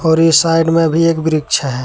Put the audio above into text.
पर इस साइड में भी एक वृक्ष है।